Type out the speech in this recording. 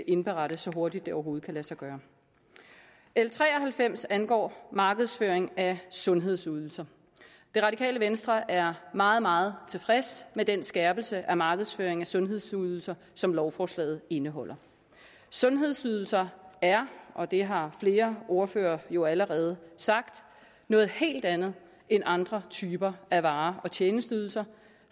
indberette så hurtigt det overhovedet kan lade sig gøre l tre og halvfems angår markedsføring af sundhedsydelser det radikale venstre er meget meget tilfreds med den skærpelse af markedsføring af sundhedsydelser som lovforslaget indeholder sundhedsydelser er og det har flere ordførere jo allerede sagt noget helt andet end andre typer af varer og tjenesteydelser